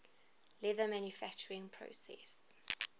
leather manufacturing process